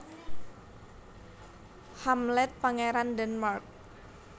Hamlet Pangeran Denmark